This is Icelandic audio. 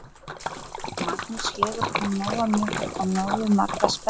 Magnús: Hefur hún nóga mjólk og nógu marga spena?